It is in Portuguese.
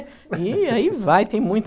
E e aí vai, tem muito.